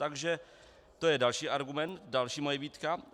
Takže to je další argument, další moje výtka.